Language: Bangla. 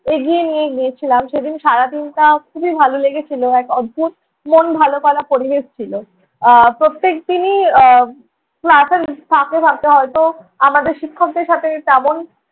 এগিয়ে নিয়ে গিয়েছিলাম। সেদিন সারাদিনটা খুবই ভালো লেগেছিলো। এক অদ্ভুত মন ভালো করা পরিবেশ ছিলো। আহ প্রত্যেক দিনই আহ class এর ফাঁকে ফাঁকে হয়ত আমাদের শিক্ষকদের সাথে তেমন